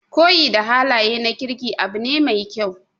Koyi da halaye na kirki abu ne mai kyau.